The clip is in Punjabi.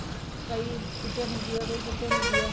ਕਈ ਕਿੱਥੇ ਹੁੰਦੀ ਏ ਕੋਈ ਕਿੱਥੇ ਹੁੰਦੀ ਏ